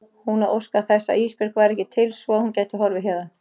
Hún að óska þess að Ísbjörg væri ekki til svo að hún gæti horfið héðan.